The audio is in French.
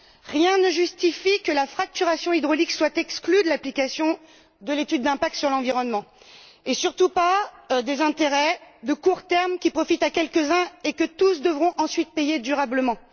Rien ne justifie que la fracturation hydraulique soit exclue de l'application de l'étude d'impact sur l'environnement et, surtout pas, des intérêts de court terme qui profitent à quelques uns et que tous devront ensuite payer durablement.